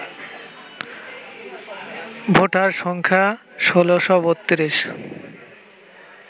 voter সংখ্যা ১৬৩২